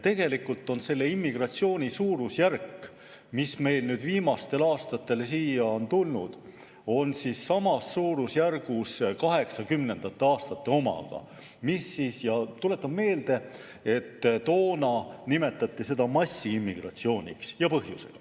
Tegelikult on suurusjärk, kes meil viimastel aastatel siia on tulnud, samas suurusjärgus kaheksakümnendate aastate omaga, ja tuletan meelde, et toona nimetati seda põhjusega massiimmigratsiooniks.